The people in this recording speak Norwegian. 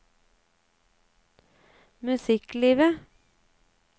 musikklivet